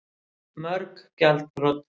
Mörg gjaldþrot